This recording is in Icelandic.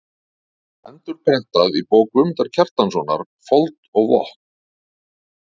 Endurprentað í bók Guðmundar Kjartanssonar: Fold og vötn.